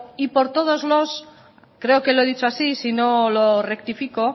y por todos y creo que lo he dicho y si no lo rectifico